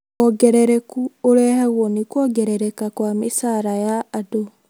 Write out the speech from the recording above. Wongerereku ũrehagwo nĩ kuongerereka kwa mĩcara ya andũ